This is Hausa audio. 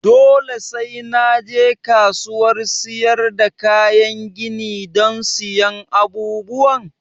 Dole sai na je kasuwar siyar da kayan gini don siyan abubuwan?